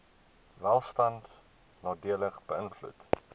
welstand nadelig beïnvloed